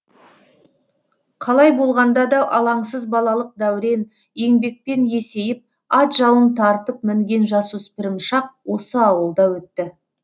қалай болғанда да алаңсыз балалық дәурен еңбекпен есейіп ат жалын тартып мінген жасөспірім шақ осы ауылда өтті